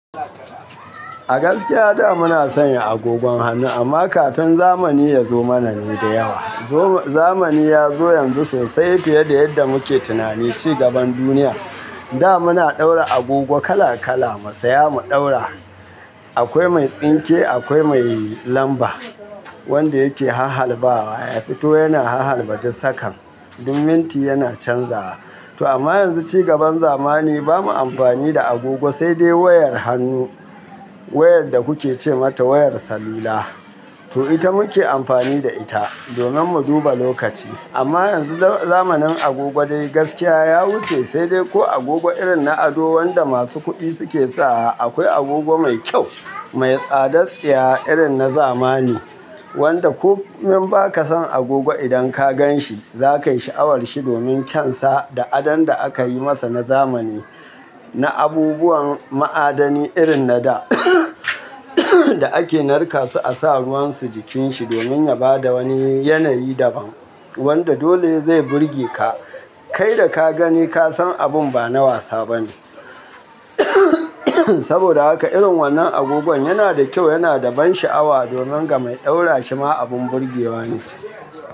Gaskiya da muna sanya agogon hannu amma kafin zamani ya zo mana ne da yawa. Zamani ya zo yanzu sosai fiye da yadda muke tunani cigaban duniya. Da muna ɗaura agogo kala kala, mu saya mu ɗaura. Akwai mai tsinke, akwai mai lamba wanda yake hahhalbawa, ya fito yana hahhalba duk sakan. Duk minti yana canzawa. To amma yanzu cigaban zamani ba mu amfani da agogo sai dai wayar hannu, wayar da kuke ce mata wayar salula. To ita muke amfani da ita domin mu duba lokaci. Amma yanzu zamanin agogo dai gaskiya ya wuce sai dai ko agogo irin na ado wanda masu kuɗi suke sawa. Akwai agogo mai kyau, mai tsadar tsiya irin na zamani wanda komen ba ka san agogo idan ka gan shi zakayi sha'awar shi domin kyan sa da adon da aka yi masa na zamani, na abubuwan ma'adani irin na da da ake narka su a sa ruwan su jikin shi domin ya bada wani yanayi daban wanda dole zai burge ka. Kai da ka gani ka san abun ba na wasa ba ne. Saboda haka irin wannan agogon yana da kyau, yana da ban sha'awa domin ga mai ɗaura shi ma abun burgewa ne.